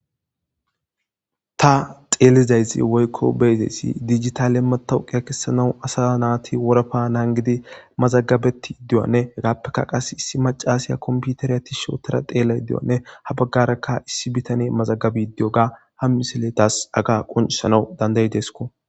ta xeelizayzi woykko beezayssi dijitale matawuqiya kessanaw asa naati worapa naan gidi mazagabetti iddiywanne hagaappeka qas issi macaasiya kompiutariya ti shootora xeela iddioanne ha baggarakka issi bitane mazagabe diyoga ha misiletas aga qonsanau dandayi desko